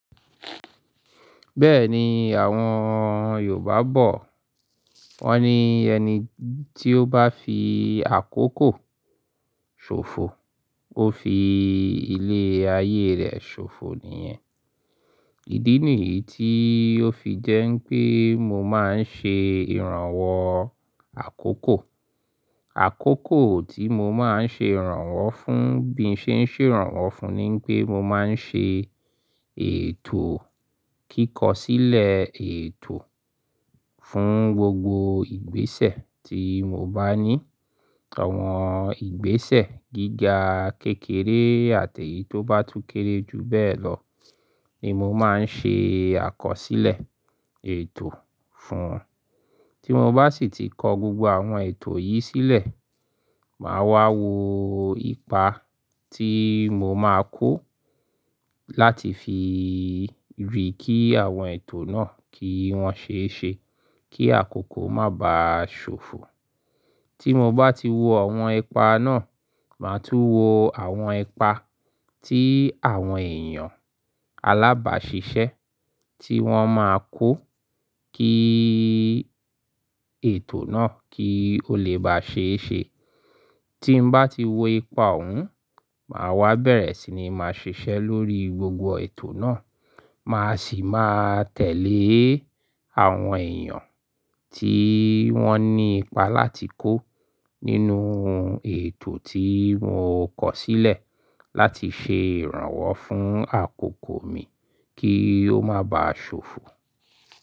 Bẹ́ẹ̀ ni àwọn Yorùbá bọ̀, wọ́n ni ẹni tí ó bá fi àkókò ṣòfò, ó fi ilé ayé rẹ̀ ṣòfò nìyẹn. Ìdí nìyí tí ó fi jẹ́ pé mo máa ń ṣe ìrànwọ́ àkókò. Àkókò tí mo máa ń ṣe ìrànwọ́ fún bí ń ṣe ń ṣe ìrànwọ́ fún ni pé mo máa ń ṣe ètò kíkọ sílẹ̀ ètò fún gbogbo ìgbésẹ̀ tí mo bá ní. Àwọn ìgbésẹ̀ gíga, kékeré àti èyí tó bá tún kéré jù bẹ́ẹ̀ lọ, ni mo máa ń ṣe àkọsílẹ̀ ètò fún. Tí mo bá sì ti kọ gbogbo àwọn ètò yìí sílẹ̀, màá wá wo ipa tí mo máa kó láti fi rí kí àwọn ètò náà kí wọ́n ṣe é ṣe kí àkókò má ba ṣòfò. Tí mo bá ti wo àwọn ipa náà, màá tún wo àwọn ipa tí àwọn èèyàn alábàáṣiṣẹ́ tí wọ́n máa kó kí ètò náà kí ó lè bá ṣe é ṣe. Tí n bá ti wo ipa òun, màá wá bẹ̀rẹ̀ sí ní máa ṣiṣẹ́ lórí gbogbo ètò náà. Màá sì máa tẹ̀lé àwọn èèyàn tí wọ́n ní ipa láti kó nínú ètò tí mo kọ sílẹ̀ láti ṣe ìrànwọ́ fún àkókò mi kí ó má ba ṣòfò.